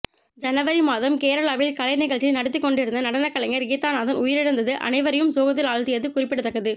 ஜனவரி மாதம் கேரளாவில் கலை நிகழ்ச்சி நடத்தி கொண்டிருந்த நடனக் கலைஞர் கீதாநந்தன் உயிரிழந்தது அனைவரையும் சோகத்தில் ஆழ்த்தியது குறிப்பிடத்தக்கது